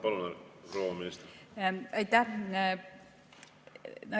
Palun, proua minister!